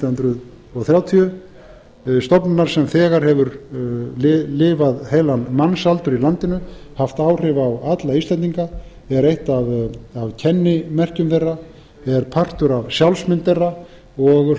nítján hundruð þrjátíu stofnunar sem þegar hefur lifað heilan mannsaldur í landinu haft áhrif á alla íslendinga er eitt af kennimerkjum þeirra er partur af sjálfsmynd þeirra og